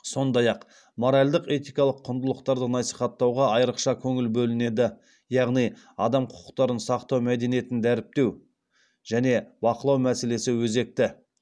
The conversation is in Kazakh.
сондай ақ моральдық этикалық құндылықтарды насихаттауға айрықша көңіл бөлінеді яғни адам құқықтарын сақтау мәдениетін дәріптеу және бақылау мәселесі өзекті